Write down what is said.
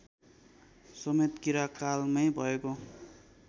समेत किराँतकालमै भएको